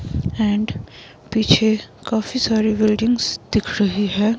And पीछे काफी सारी बिल्डिंग्स दिख रही है।